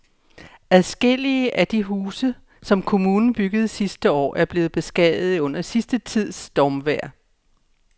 Adskillige af de huse, som kommunen byggede sidste år, er blevet beskadiget under den sidste tids stormvejr.